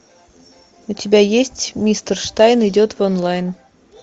у тебя есть мистер штайн идет в онлайн